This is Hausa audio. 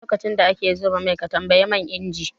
Lokacin da ake zuba mai ka tambayi man inji?